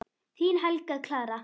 Þín Helga Clara.